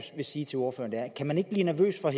vil sige til ordføreren er kan man ikke blive nervøs for at